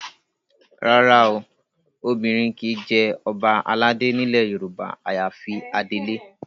Rárá o, obìnrin kì í jẹ ọba aládé nílẹ̀ Yorùbá àyàfi adelé